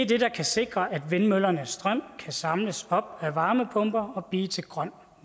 det der kan sikre at vindmøllernes strøm kan samles op af varmepumper og blive til grøn